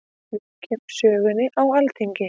Víkjum sögunni á Alþingi.